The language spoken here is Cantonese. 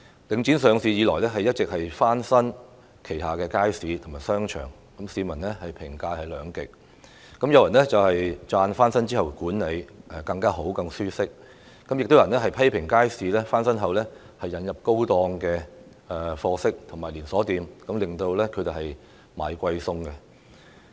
領展上市以來不斷翻新旗下的街市和商場，市民對此的評價兩極，有人稱讚設施翻新後管理更好，環境更舒適，但亦有人批評街市翻新後引入售賣高檔貨色的商戶和連鎖店，令居民"捱貴餸"。